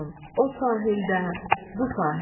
O sahildə, bu sahildə.